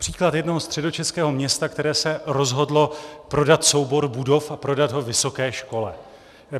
Příklad jednoho středočeského města, které se rozhodlo prodat soubor budov a prodat ho vysoké škole.